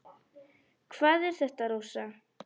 Hvað er þetta, Rósa?